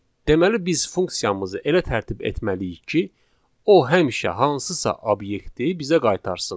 Deməli biz funksiyamızı elə tərtib etməliyik ki, o həmişə hansısa obyekti bizə qaytarsın.